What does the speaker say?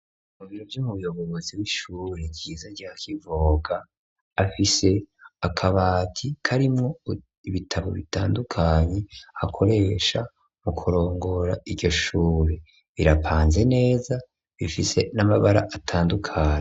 Mu biro vy'umuyobozi w'ishuri ryiza rya Kivoga afise akabati karimwo ibitabo bitandukanye akoresha mu kurongora iryo shuri, irapanze neza ifise n'amabara atandukanye.